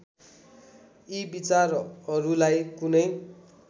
यी विचारहरूलाई कुनै